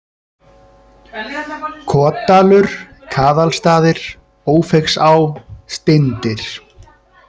Kotdalur, Kaðalstaðir, Ófeigsá, Steindyr